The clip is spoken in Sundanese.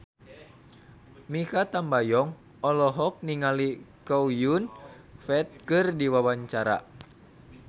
Mikha Tambayong olohok ningali Chow Yun Fat keur diwawancara